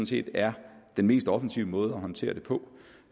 set er den mest offensive måde at håndtere det på